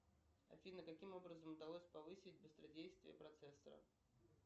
афина каким образом удалось повысить быстродействие процессора